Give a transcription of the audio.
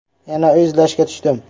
Yana uy izlashga tushdim.